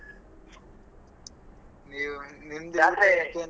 ನೀವ್ ನಿಮ್ಮ್ .